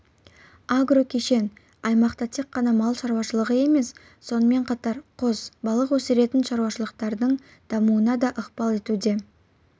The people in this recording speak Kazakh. агрокешен аймақта тек мал шаруашылығы емес сонымен қатар құс балық өсіретін шаруашылықтардың дамуына да ықпал етуде